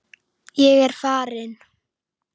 Ég er farin!